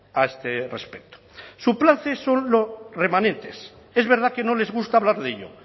a este respecto su plan c son los remanentes es verdad que no les gusta hablar de ello